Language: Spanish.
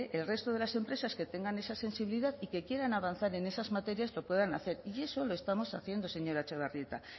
el resto de las empresas que tengan esa sensibilidad y que quieran avanzar en esas materias lo puedan hacer y eso lo estamos haciendo señora etxebarrieta